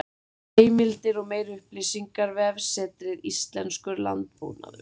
Heimildir og meiri upplýsingar: Vefsetrið Íslenskur landbúnaður.